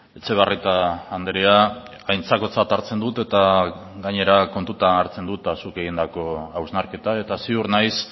etxebarrieta andrea aintzakotzat hartzen dut eta gainera kontutan hartzen dut zuk egindako hausnarketa eta ziur naiz